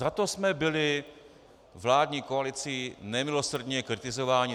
Za to jsme byli vládní koalicí nemilosrdně kritizováni.